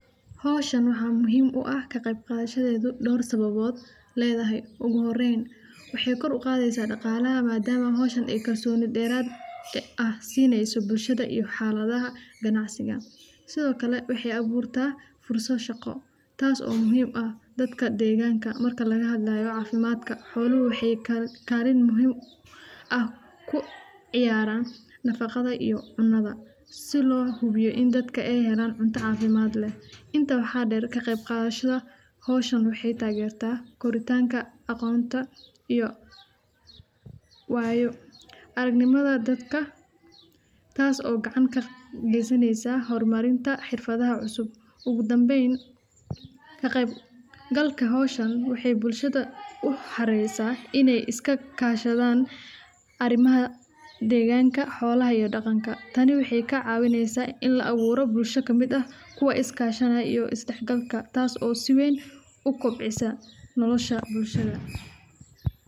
Hoshan waxaa muhiim u ah ka qeb qadashada dor sababod ugu hore waxee kor uqadeysa daqalaha sithokale waxee aburta furso shaqo si lo hubiyo inta waxaa der kaq qadashada arimaha deganka iyo xolaha tas oo si weyn u kobcisa nolosha bulshaada.